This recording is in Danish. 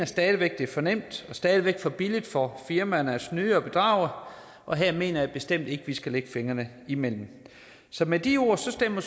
stadig væk er for nemt og stadig væk for billigt for firmaerne at snyde og bedrage og her mener jeg bestemt ikke vi skal lægge fingrene imellem så med de ord stemmer